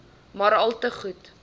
maar alte goed